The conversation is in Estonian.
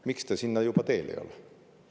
Miks te sinna juba teel ei ole?